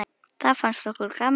Það fannst okkur gaman.